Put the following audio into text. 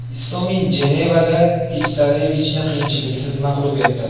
Istomin Jenevada Tipsarevichni qiyinchiliksiz mag‘lub etdi.